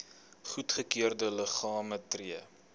goedgekeurde liggame tree